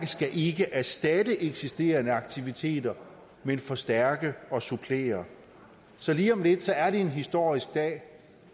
ikke erstatte eksisterende aktiviteter men forstærke og supplere så lige om lidt er det en historisk dag